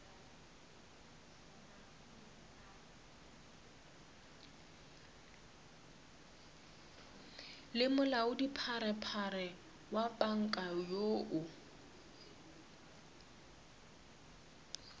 le molaodipharephare wa panka yoo